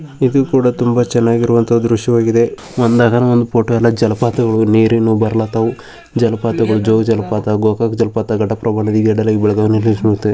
ಇದು ಕೂಡ ತುಂಬಾ ಚೆನ್ನಾಗಿರುವಂತ ದೃಶವಾಗ್ಗಿದೆ. ಒಂದದೊಂದು ಒಂದ್ ಫೋಟೋ ಯಲ್ಲಾ ಜಲಪಾತಗಳು ನೀರಿನ್ನು ಬಾರ್ಲಾತಾವು. ಜಲಪಾತಗಳು ಜೋಗ ಜಲಪಾತ ಗೋಕಾಕ್ ಜಲಪಾತಗಳು ಘಟಪ್ರಭಾ ನದಿ .]